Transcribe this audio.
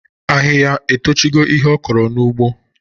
Ahịhịa etochigo ihe ọ kọrọ n'ugbo?